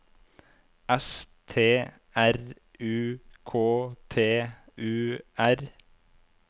S T R U K T U R